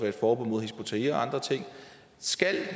et forbud mod hizb ut tahrir og andre ting skal